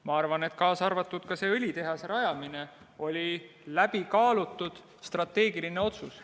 Ma arvan, et ka õlitehase rajamine oli läbikaalutud strateegiline otsus.